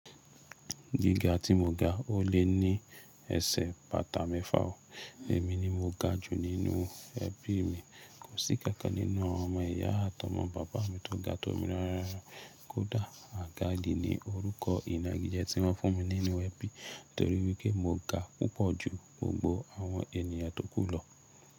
Gíga tí moga, ó lé ní ẹsẹ̀ bàtà mẹ́fà o. Èmi ni mo ga jù nínú ẹbí mi. Kòsí ikankan nínú ọmọ ìyá àtà ọmọ bàbá mi tó ga tó mi. Kódà Àgàdí ni orúkọ ìnagijẹ tí wọ́n fún mi nínú ẹbí torí wípé mo ga púpọ̀ ju gbogbo àwọn ènìyàn tó kù lọ.